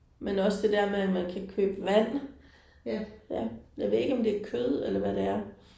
Men også det der med at man kan købe vand. Ja jeg ved ikke om det er kød eller hvad det er